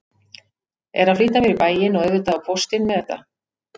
Er að flýta mér í bæinn og auðvitað á póstinn með þetta.